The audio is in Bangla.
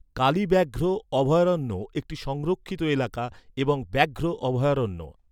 কালী ব্যাঘ্র অভয়ারণ্য একটি সংরক্ষিত এলাকা এবং ব্যাঘ্র অভয়ারণ্য।